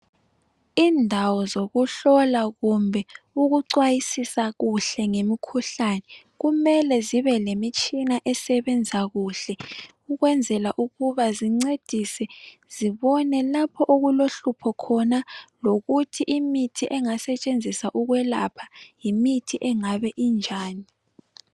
Indawo zokuhlola kumbe ukucwayisisa kuhle ngemkhuhlani, kumele zibe nemitshina esebenza kuhle ukwenzela ukuba zincedise, zibone lapho okulohlupho khona lokuthi imithi engasetshenziswa ukwelapha, yimithi engabe injani.